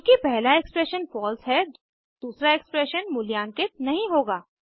चूँकि पहला expression false है दूसरा एक्सप्रेशन मूल्यांकित नहीं होगा